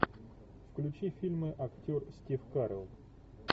включи фильмы актер стив карелл